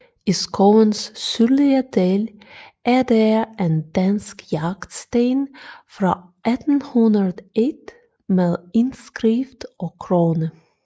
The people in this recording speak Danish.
I skovens sydlige del er der en dansk jagtsten fra 1801 med indskrift og krone